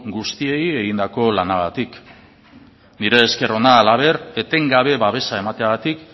guztiei egindako lanagatik nire esker ona halaber etengabe babesa emateagatik